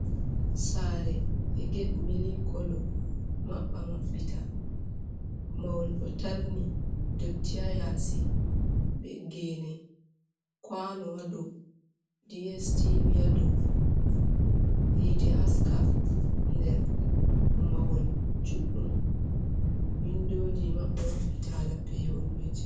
Sare be get milk kolo, maɓɓa maɓɓita, mahol do tarni, dotti ha yasi, be gene. kwano ha dow, DSTV ha dow, yite haska nder. Mahol juɗɗum, windoji maɓɓa maɓɓita hala pewol.